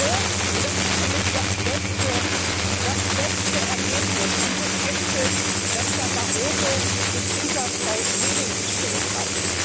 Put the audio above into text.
Ich bin froh und das ist für mich das beste Ergebnis dieses Gipfels dass Herr Barroso sich hinter Frau Reding gestellt hat.